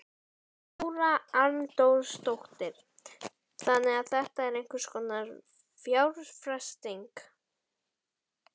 Þóra Arnórsdóttir: Þannig að þetta er einhvers konar fjárfesting?